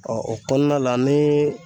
Ɔ o kɔnɔna la ni